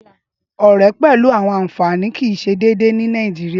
Ọrẹ pẹlu àwọn anfani kii ṣe iṣe deede ni Nàìjíríá.